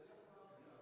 Aitäh!